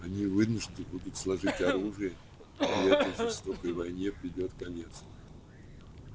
они вынуждены будут сложить оружие и этой жестокой войне придёт конец